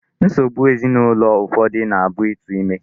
Nsogbu ezinụlọ ụfọdụ na-abụ ịtụ ime.